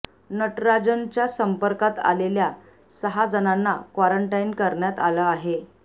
नटराजनच्या संपर्कात आलेल्या सहा जणांना क्वारंटाइन करण्यात आले आहे